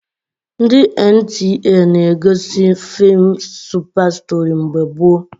Ndị NTA na-egosi feem Supa Stori mgbe gboo